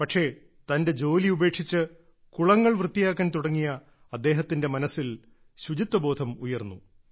പക്ഷേ തന്റെ ജോലി ഉപേക്ഷിച്ച് കുളങ്ങൾ വൃത്തിയാക്കാൻ തുടങ്ങിയ അദ്ദേഹത്തിന്റെ മനസ്സിൽ ശുചിത്വബോധം ഉയർന്നു